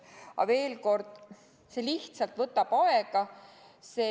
Aga veel kord: see lihtsalt võtab aega.